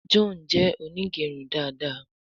John jé Onigerun dá dá.